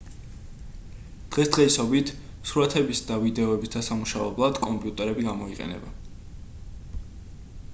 დღესდღეობით სურათების და ვიდეოების დასამუშავებლად კომპიუტერები გამოიყენება